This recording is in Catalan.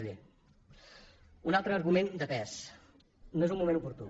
un altre argument de pes no és un moment oportú